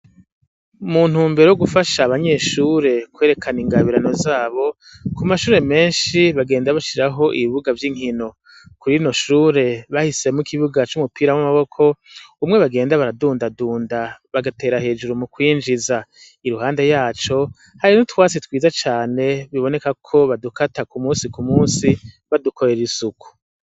Muntu wumbere wo gufasha abanyeshure kwerekana ingabirano zabo ku mashure menshi bagenda bashiraho ibibuga vy'inkino kurino shure bahisemo ikibuga c'umupira w'amaboko umwe bagenda baradundadunda bagatera hejuru mu kwinjiza i ruhande yaco hari no twasi twiza cane bibonekako, kuko badukata ku musi ku musi badukorera isuku.